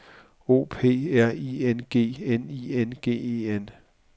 O P R I N G N I N G E N